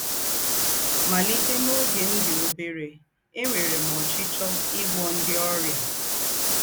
“ Màlìtè n’ógè m dì óbèrè, ènwèrè m ọ́chíchíọ́ ígwọ̀ ńdị́ ọ́rịà. ”